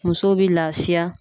Musow bi lafiya.